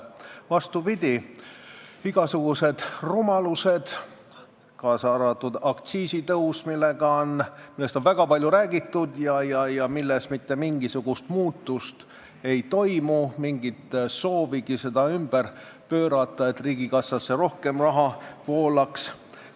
Vastupidi, seal on igasugused rumalused, kaasa arvatud aktsiisitõus, millest on väga palju räägitud ja mille puhul mitte mingisugust muutust ei toimu – ei ole mingit soovigi seda ümber pöörata, et riigikassasse rohkem raha voolaks.